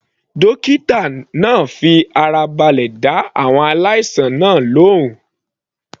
Dókítà náà fi ara balẹ̀ dá àwọn aláìsàn náà lóhùn.